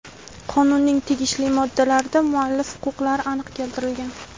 Qonunning tegishli moddalarida muallif huquqlari aniq keltirilgan.